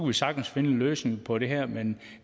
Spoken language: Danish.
vi sagtens finde en løsning på det her men